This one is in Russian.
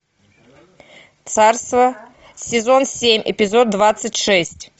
царство сезон семь эпизод двадцать шесть